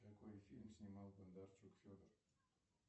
какой фильм снимал бондарчук федор